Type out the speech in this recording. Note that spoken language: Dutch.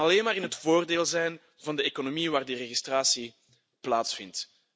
Dat kan alleen maar in het voordeel zijn van de economie waar die registratie plaatsvindt.